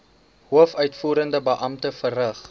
hoofuitvoerende beampte verrig